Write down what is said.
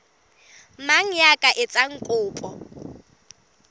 mang ya ka etsang kopo